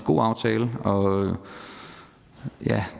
god aftale og